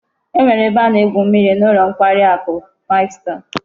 E nwere ebe a na-egwu mmiri n'ulo nkwari aku five star